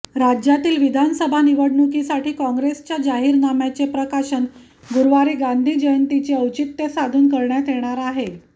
राज्यातील विधानसभा निवडणुकीसाठी काँग्रेसच्या जाहीरनाम्याचे प्रकाशन गुरुवारी गांधी जयंतीचे औचित्य साधून करण्यात येणार आहे